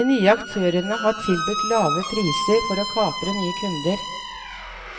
De nye aktørene har tilbudt lave priser for å kapre nye kunder.